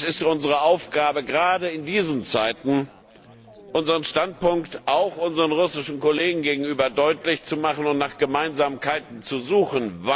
Es ist unsere Aufgabe, gerade in diesen Zeiten, unseren Standpunkt auch unseren russischen Kollegen gegenüber deutlich zu machen und nach Gemeinsamkeiten zu suchen.